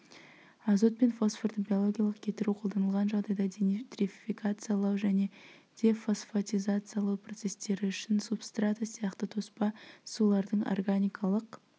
азот пен фосфорды биологиялық кетіру қолданылған жағдайда денитрификациялау және дефосфотизациялау процесстері үшін субстрата сияқты тоспа сулардың органикалық